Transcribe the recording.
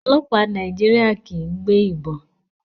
Ọlọpa Naijiria kii gbe ibon